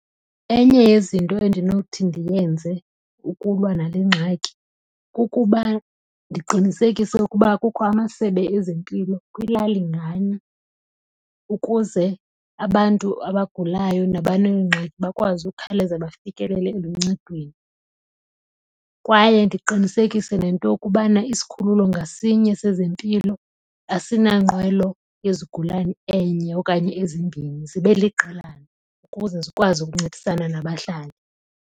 Enye yezinto endinothi ndiyenze ukulwa nale ngxaki kukuba ndiqinisekise ukuba kukho amasebe ezempilo kwilali nganye ukuze abantu abagulayo nabaneengxaki bakwazi ukukhawuleza bafikelele eluncedweni. Kwaye ndiqinisekise nento yokubana isikhululo ngasinye sezempilo asinanqwelo yezigulani enye okanye ezimbini zibe liqelana ukuze zikwazi ukuncedisana nabahlali.